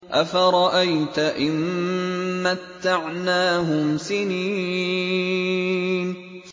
أَفَرَأَيْتَ إِن مَّتَّعْنَاهُمْ سِنِينَ